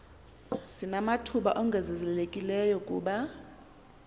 sinamathuba ongezelelekileyo kuba